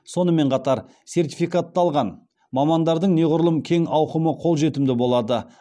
сонымен қатар сертификатталған мамандардың неғұрлым кең ауқымы қолжетімді болады